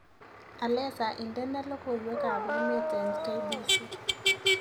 Alesa indene logoywekab emet eng k.b.c